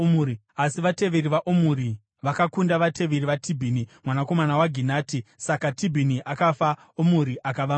Asi vateveri vaOmuri vakakunda vateveri vaTibhini, mwanakomana waGinati. Saka Tibhini akafa, Omuri akava mambo.